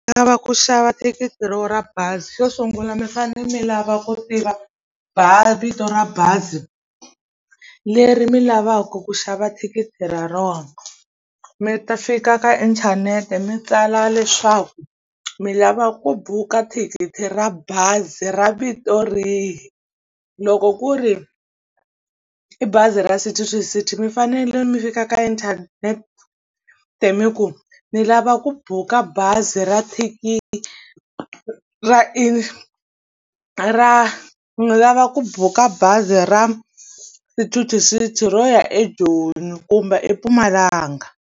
U lava ku xava thikithi ra wehe ra bazi xo sungula mi fane mi lava ku tiva vito ra bazi leri mi lavaka ku xava thikithi ra rona mi ta fika ka inthanete mi tsala leswaku mi lava ku buka thikithi ra bazi ra vito rihi loko ku ri i bazi ra City To City mi fanele mi fika ka internet mi ku mi lava va ku buka bazi ra thikithi ra i ra milava ku buka bazi ra City To City ro ya eJoni kumbe eMpumalanga.